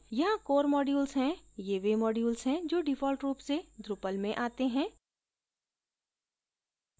यहाँ core modules हैं ये वे modules हैं जो default रूप से drupal में आते हैं